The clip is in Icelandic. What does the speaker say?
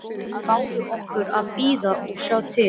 En báðu okkur að bíða og sjá til.